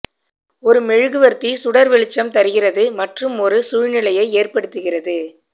ஒரு மெழுகுவர்த்தி சுடர் வெளிச்சம் தருகிறது மற்றும் ஒரு சூழ்நிலையை ஏற்படுத்துகிறது